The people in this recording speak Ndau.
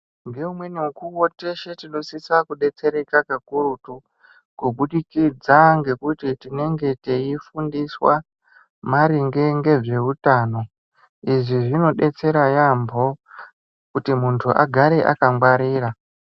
Ngeumweni mukuwo teshe tinosisa kudetsereka kakurutu kubudikidza ngekuti tinenge teifundiswa maringe ngezveutano. Izvi zvinodetsera yaamho kuti muntu agare akangwarira.